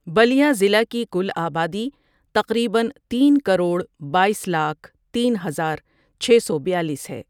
بٙلْیا ضلع کی کل آبادی تقریبا تین کرور بایس لاکھ تین ہزار چھ سو بیالیس ہے ۔